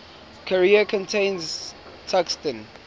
carrier contains tungsten